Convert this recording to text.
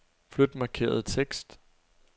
Flyt markerede tekst.